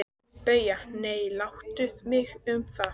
BAUJA: Nei, láttu mig um það.